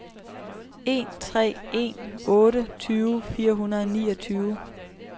en tre en otte tyve fire hundrede og niogtyve